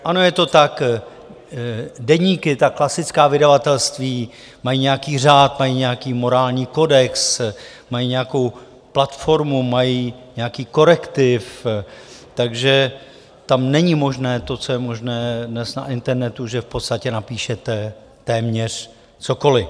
Ano, je to tak: deníky, ta klasická vydavatelství, mají nějaký řád, mají nějaký morální kodex, mají nějakou platformu, mají nějaký korektiv, takže tam není možné to, co je možné dnes na internetu, že v podstatě napíšete téměř cokoliv.